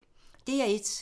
DR1